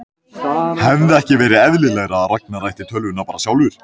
Hefði ekki verið eðlilegra að Ragnar ætti tölvuna bara sjálfur?